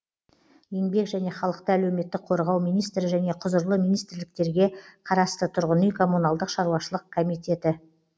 еңбек және халықты әлеуметтік қорғау министрі және құзырлы министрліктерге қарасты тұрғын үй коммуналдық шаруашылық комитеті